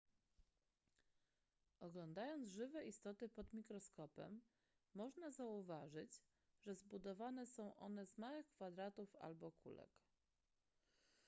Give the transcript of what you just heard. oglądając żywe istoty pod mikroskopem można zauważyć że zbudowane są one z małych kwadratów albo kulek